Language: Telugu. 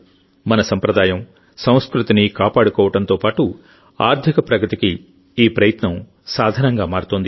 మన సంప్రదాయం సంస్కృతిని కాపాడుకోవడంతో పాటు ఆర్థిక ప్రగతికి ఈ ప్రయత్నం సాధనంగా మారుతోంది